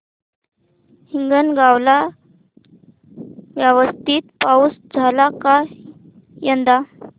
हिंगणगाव ला व्यवस्थित पाऊस झाला का यंदा